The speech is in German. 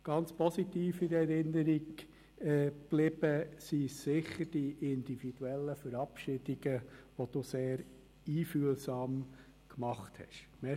Ganz positiv in Erinnerung geblieben sind sicher die individuellen Verabschiedungen, die Sie sehr einfühlsam gemacht haben.